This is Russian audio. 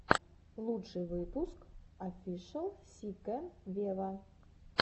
лучший выпуск офишел си кэн вево